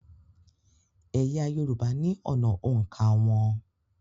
Ẹ̀yà Yorùbá ní ọ̀nà òǹkà wọn